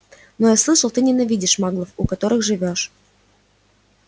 но я слышал ты ненавидишь маглов у которых живёшь